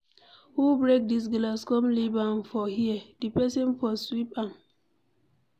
Who break dis glass come leave am for here. The person for sweep am.